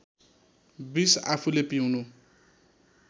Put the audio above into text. विष आफूले पिउनु